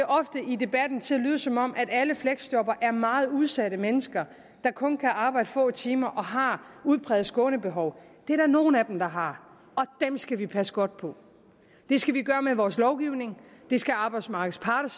i debatten til at lyde som om alle fleksjobbere er meget udsatte mennesker der kun kan arbejde få timer og har udpræget skånebehov det er der nogle af dem der har og dem skal vi passe godt på det skal vi gøre med vores lovgivning det skal arbejdsmarkedets parter